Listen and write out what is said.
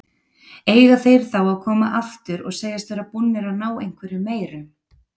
Eiga þeir þá að koma aftur og segjast vera búnir að ná einhverju meiru?